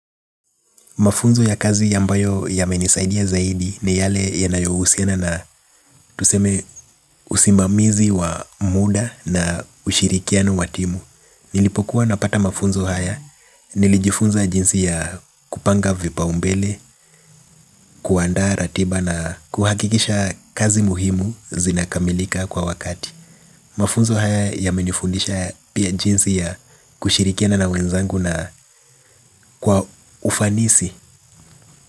Mafunzo ya kazi ambayo yamenisaidia zaidi ni yale yanayohusiana na tuseme usimamizi wa muda na ushirikiano wa timu. Nilipokuwa napata mafunzo haya, nilijifunza jinsi ya kupanga vipaumbele, kuandaa ratiba na kuhakikisha kazi muhimu zinakamilika kwa wakati. Mafunzo haya yamenifundisha pia jinsi ya kushirikiana na wenzangu na kwa ufanisi.